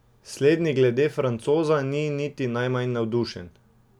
Slednji glede Francoza ni niti najmanj navdušen.